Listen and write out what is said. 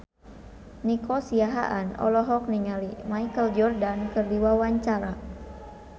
Nico Siahaan olohok ningali Michael Jordan keur diwawancara